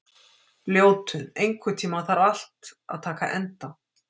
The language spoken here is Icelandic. Ljótunn, einhvern tímann þarf allt að taka enda.